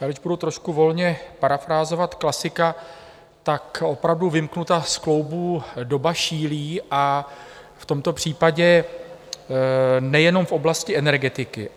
Já teď budu trošku volně parafrázovat klasika, tak opravdu "vymknuta z kloubů doba šílí", a v tomto případě nejenom v oblasti energetiky.